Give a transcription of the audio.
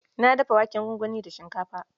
Na dafa waken gwangwani da shinkafa.